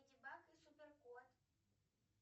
леди баг и супер кот